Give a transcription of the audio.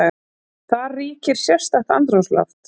Þar ríkir sérstakt andrúmsloft.